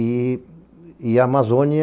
E a Amazônia,